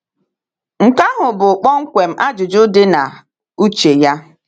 Nke ahụ bụ kpọmkwem ajụjụ dị na uche ya.